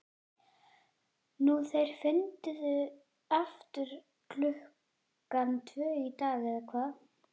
Nú þeir funduðu aftur klukkan tvö í dag, eða hvað?